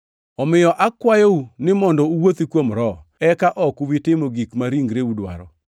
Omiyo akwayou ni mondo uwuothi kuom Roho, eka ok ubi timo gik ma ringreu dwaro.